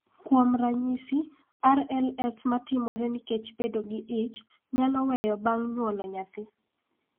Kuom ranyisi, RLS ma timore nikech bedo gi ich, nyalo weyo bang� nyuolo nyathi.